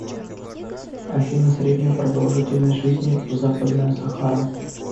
афина средняя продолжительность жизни в западная сахара